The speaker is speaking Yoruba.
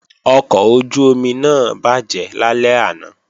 Ọkọ̀ ojú-omi náà bàjẹ́ lálẹ́ àná